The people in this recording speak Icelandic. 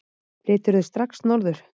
Flyturðu strax norður?